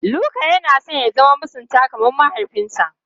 Luka yana son ya zama masunta kamar mahaifinsa.